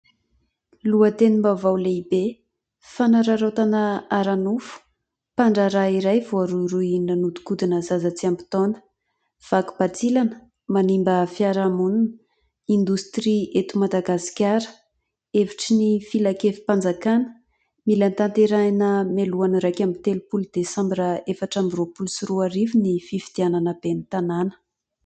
Lohatenim-baovao lehibe, fanararaotana ara-nofo : mpandraharaha iray voarohirohy nanodinkodina zaza tsy ampy taona, vaky bantsilana : manimba fiaramonina, indostria eto Madagasikara, hevitry ny filan-kevim-panjakana : mila tanterahina mialohan'ny iraiky amby telopoly dasambra efatra amby roapolo sy roa arivo, ny fifidianana ben'ny tanàna.